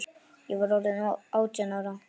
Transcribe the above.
Ég var orðin átján ára.